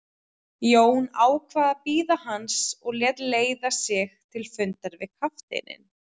Jón ákvað að bíða hans og lét leiða sig til fundar við kafteininn.